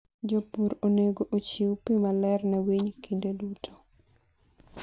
jopur onego ochiw pi maler ne winy kinde duto.